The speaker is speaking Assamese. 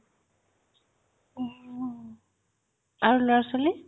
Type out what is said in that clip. অ, আৰু ল'ৰা ছোৱালি